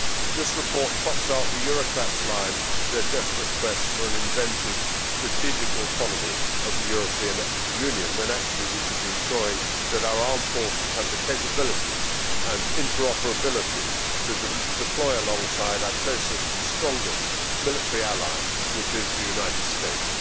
This report trots out the Eurocrats' line, their desperate quest for an invented strategic autonomy of the European Union, when actually we should be ensuring that our armed forces have the capabilities and interoperability to deploy alongside our closest and strongest military ally, which is the United States.